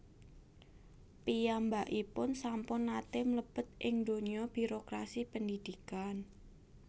Piyambakipun sampun nate mlebet ing dunya birokrasi pendhidhikan